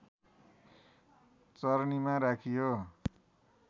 चरनीमा राखियो